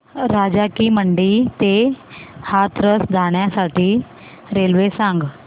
राजा की मंडी ते हाथरस जाण्यासाठी रेल्वे सांग